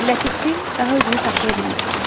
Ləpirçi daha özünü saxlaya bilmədi.